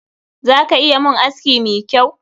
Za ka iya mun aski mi kyau?